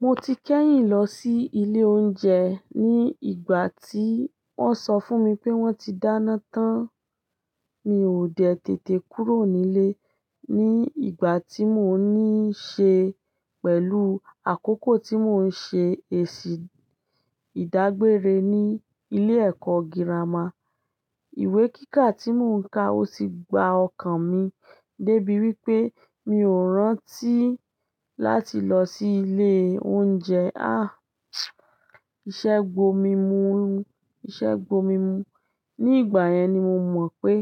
Mo ti kẹ́yìn lọ sí ilé oúnjẹ ní ìgbà tí wọ́n sọ fún mi pé wọ́n ti dáná tán. Mi ò dẹ tètè kúrò nílé ní ìgbà tí mò ń níṣe pẹ̀lú àkókò tí mò ń ṣe èsì ìdágbére ní ilé ẹ̀kọ́ gírámà. Ìwé kíkà tí mò ń ka ó ti gba ọkàn mi dé bí wí pé mi ò rántí láti lọ sí ilé oúnjẹ. Àh! Ìṣẹ́ gbò mi mú, Ìṣẹ́ gbò mi mú. Ní ìgbà yẹn ni mo mọ̀ pé